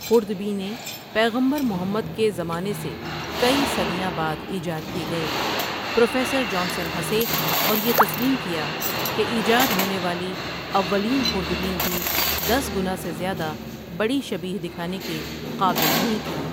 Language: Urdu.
خوردبینیں پیغمبر محمدۖ کے زمانے سے کئی صدیاں بعدایجاد کی گئیں پروفیسر جانسن ہنسے اور یہ تسیلم کیا کہ ایجاد ہونے والی اولین خوردبین بھی دس گنا سے زیادہ بڑی شبیہ دکھانے کے قابل نہیں تھی ۔